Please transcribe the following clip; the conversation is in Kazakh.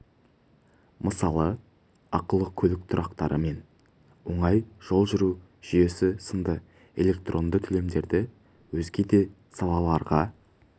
мысалы ақылы көлік тұрақтары мен оңай жол жүру жүйесі сынды электронды төлемдерді өзге де салаларға